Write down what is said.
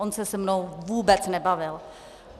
On se se mnou vůbec nebavil.